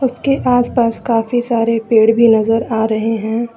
इसके आसपास काफी सारे पेड़ भी नजर आ रहे हैं।